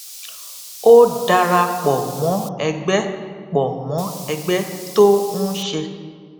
ó dara pò mó ẹgbẹ pò mó ẹgbẹ tó ń ṣe